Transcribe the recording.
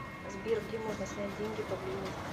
сбер где можно снять деньги поблизости